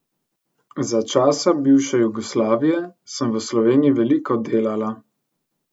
Za časa bivše Jugoslavije sem v Sloveniji veliko delala.